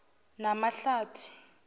namahlathi